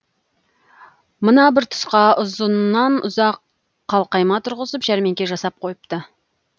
мына бір тұсқа ұзыннан ұзақ қалқайма тұрғызып жәрмеңке жасап қойыпты